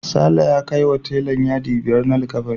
Sale ya kaiwa telan yadi biyar na likkafanin.